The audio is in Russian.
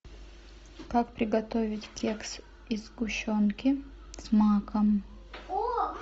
как приготовить кексы из сгущенки с маком